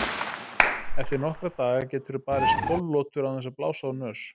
Eftir nokkra daga geturðu barist tólf lotur án þess að blása úr nös.